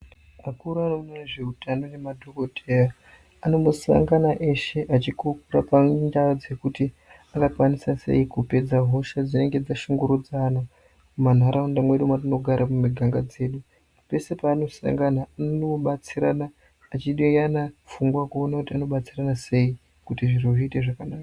Akuru anoona nezveutano nemadhokodheya anombosanga eshe achikurukura pamwe neadzi kuti angakwanisa sei kupedza hosha dzinenge dzashungurudza ana mumanharaunda mwedu mwatinogara mumiganga dzedu pedu paanosangana anonobatsirana achideyana pfungwa kuona kuti anobatsirwna sei kuti zviro zviite zvakanaka.